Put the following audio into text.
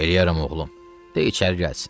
Eləyərəm oğlum, de içəri gəlsin.